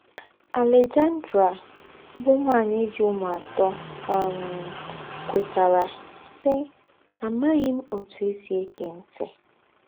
Alejandra, bụ́ ǹwányì jì úmù àtọ̀, um kwètàrà, sí: “ Àmàghì m̀ ótù è sí ègé ńtì. ”